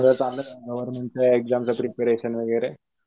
गोवेर्न्मेंटच्या एक्सामच प्रिपरेशन वगैरे.